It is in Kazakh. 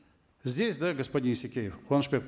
здесь да господин исекеев куанышбек